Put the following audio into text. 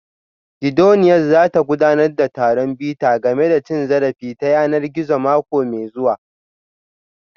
Gidauniyar za ta gudanar da taron bita game da cin zarafi ta yanar gizo mako mai zuwa